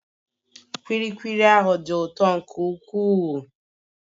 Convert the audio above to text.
Kulikuli ahụ dị ụtọ nke ukwuu